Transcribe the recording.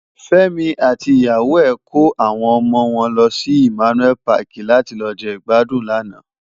Femi àti iyàwó è kó áwòn òmò wòn lòsi Immanuel Pàki làti lò je igbàdún làná